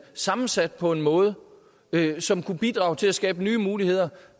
sammensat på en måde som kunne bidrage til at skabe nye muligheder